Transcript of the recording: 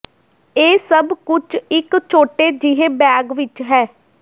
ਇਹ ਸਭ ਕੁਝ ਇਕ ਛੋਟੇ ਜਿਹੇ ਬੈਗ ਵਿਚ ਹੈ